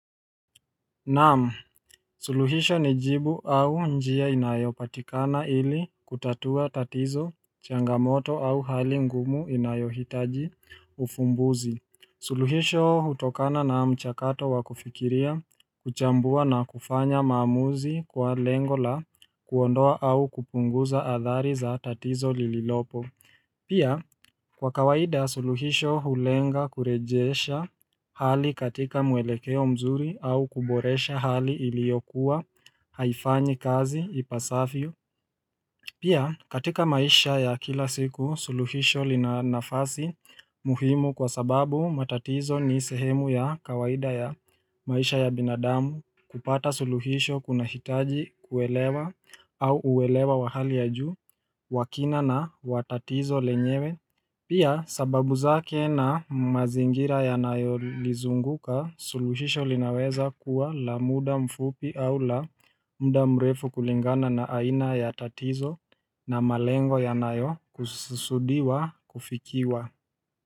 Naam, suluhisho ni jibu au njia inayopatikana ili kutatua tatizo, changamoto au hali ngumu inayohitaji ufumbuzi suluhisho hutokana na mchakato wakufikiria, kuchambua na kufanya maamuzi kwa lengo la kuondoa au kupunguza athari za tatizo lililopo Pia kwa kawaida suluhisho hulenga kurejesha hali katika mwelekeo mzuri au kuboresha hali iliokuwa haifanyi kazi ipasavyo Pia katika maisha ya kila siku suluhisho lina nafasi muhimu kwa sababu matatizo ni sehemu ya kawaida ya maisha ya binadamu kupata suluhisho kunahitaji kuelewa au uelewa wa hali ya juu wa kina na wa tatizo lenyewe Pia sababu zake na mazingira yanayo lizunguka suluhisho linaweza kuwa la muda mfupi au la mda mrefu kulingana na aina ya tatizo na malengo yanayo kususudiwa kufikiwa.